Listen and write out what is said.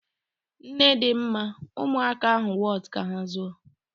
Nnedịmma, ụmụaka ahụ wọtu ka ha zụọ.